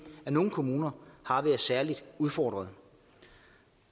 nogle kommuner har været særligt udfordrede